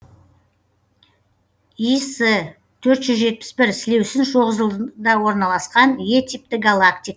іс төрт жүз жетпіс бір сілеусін шоқжұлдызында орналасқан е типті галактик